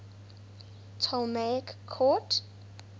ptolemaic court